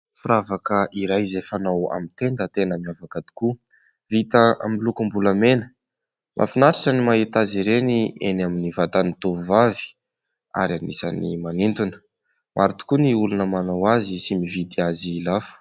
Firavaka iray izay fanao amin'ny tenda, tena miavaka tokoa, vita amin'ny lokom-bolamena, mahafinaritra ny mahita azy ireny eny amin'ny vatan'ny tovovavy ary anisany manintona, maro tokoa ny olona manao azy sy mividy azy lafo.